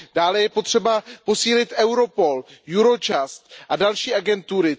Dále je potřeba posílit Europol, Eurojust a další agentury.